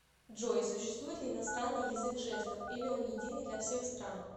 джой существует ли иностранный язык жестов или он единый для всех стран